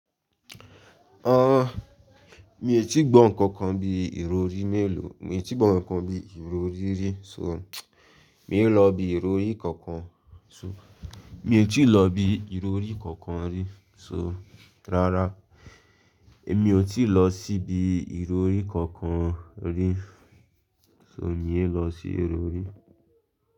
Ọ, mi ò tíì gbọ́ nǹkan kan bi ìrọrí mélòó, mi ò tíì gbọ́ nǹkan kan bí ìrọrí rí so, mi ò lọ ibi ìrọrí kankan so, mi ò tíì lọ ibi ìrọrí kankan rí so, rárá, èmi ò tíì lọ síbi ìrọrí kankan rí so, òní yé lọ sí ìrọrí.